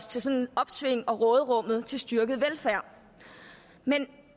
til opsvinget og råderummet til styrket velfærd men